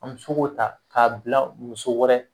An me se k'o ta k'a bila muso wɛrɛ